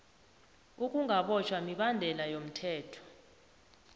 ukungabotjhwa mibandela yomthetho